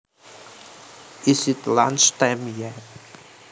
Is it lunch time yet